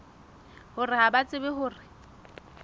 hore ha ba tsebe hore